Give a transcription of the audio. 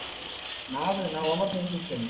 ನಾಕು ದಿನ, ನಾನ್ ಒಂಬತ್ತು ದಿವ್ಸ ಇರ್ತೇನೆ.